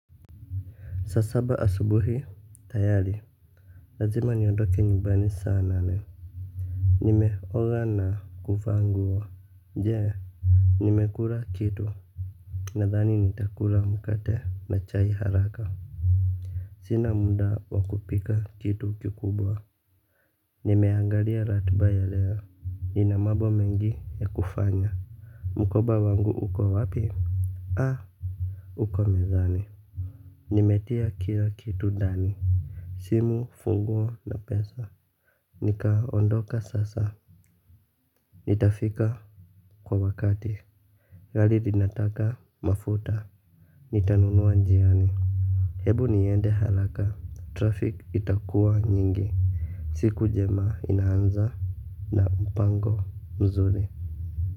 Saa saba asubuhi tayari, lazima niondoke nyumbani saa nane. Nimeoga na kuvaa nguo. Je nimekula kitu. Nadhani nitakula mkate na chai haraka. Sina muda wakupika kitu kikubwa. Nimeangalia ratiba ya leo, nina mambo mengi ya kufanya. Mkoba wangu uko wapi, aa uko mezani. Nimetia kila kitu ndani simu, funguo na pesa nika ondoka sasa, nitafika kwa wakati. Gari linataka mafuta, nitanunua njiani ebu niende haraka, traffiki itakua nyingi. Siku njema inaanza na mpango mzuri.